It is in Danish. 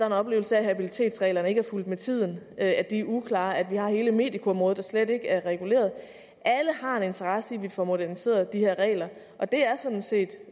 en oplevelse af at habilitetsreglerne ikke er fulgt med tiden at de er uklare at vi har hele medicoområdet der slet ikke er reguleret alle har en interesse i at vi får moderniseret de her regler og det er sådan set